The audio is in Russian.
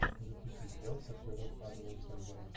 запусти сериал с актером адамом сэндлером